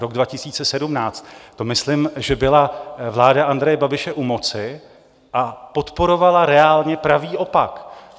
Rok 2017 - to myslím, že byla vláda Andreje Babiše u moci, a podporovala reálně pravý opak.